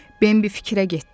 Bimbi fikrə getdi.